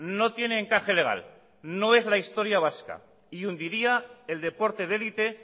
no tiene encaje legal no es la historia vasca y hundiría el deporte de élite